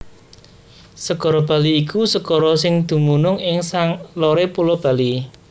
Segara Bali iku segara sing dumunung ing saloré Pulo Bali